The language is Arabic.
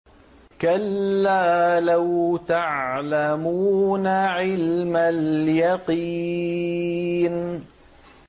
كَلَّا لَوْ تَعْلَمُونَ عِلْمَ الْيَقِينِ